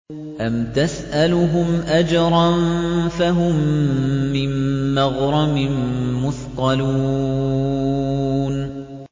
أَمْ تَسْأَلُهُمْ أَجْرًا فَهُم مِّن مَّغْرَمٍ مُّثْقَلُونَ